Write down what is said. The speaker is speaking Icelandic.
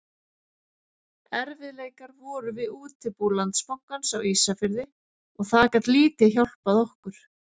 Erfiðleikar voru við útibú Landsbankans á Ísafirði og það gat lítið hjálpað okkur.